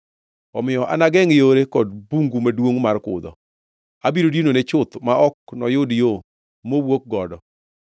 Omiyo anagengʼ yore kod bungu maduongʼ mar kudho; abiro dinone chuth ma ok noyud yo mowuok godo oko.